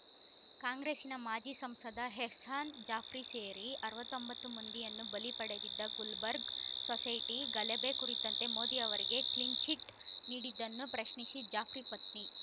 ಕಾಂಗ್ರೆಸ್ಸಿನ ಮಾಜಿ ಸಂಸದ ಎಹ್ಸಾನ್‌ ಜಾಫ್ರಿ ಸೇರಿ ಅರವತ್ತ್ ಒಂಬತ್ತು ಮಂದಿಯನ್ನು ಬಲಿ ಪಡೆದಿದ್ದ ಗುಲ್ಬರ್ಗ್‌ ಸೊಸೈಟಿ ಗಲಭೆ ಕುರಿತಂತೆ ಮೋದಿ ಅವರಿಗೆ ಕ್ಲೀನ್‌ಚಿಟ್‌ ನೀಡಿದ್ದನ್ನು ಪ್ರಶ್ನಿಸಿ ಜಾಫ್ರಿ ಪತ್ನಿ